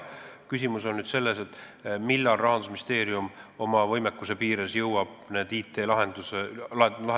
Küsimus on nüüd selles, millal jõuab Rahandusministeerium oma võimekuse piires need IT-lahendused ära teha.